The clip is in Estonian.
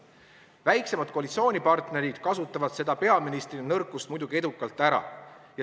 Väiksemad koalitsioonipartnerid kasutavad seda peaministri nõrkust muidugi edukalt ära.